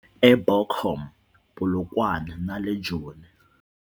eBochum, Polokwane na le Joni.